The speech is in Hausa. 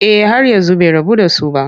Eh har yanzu bai rabu da su ba.